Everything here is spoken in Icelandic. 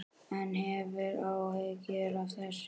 En hefurðu áhyggjur af þessu?